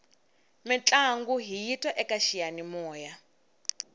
mintlangu hiyi twa eka xiyanimoya